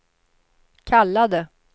kallade